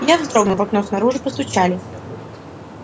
я вздрогнул в окно снаружи постучали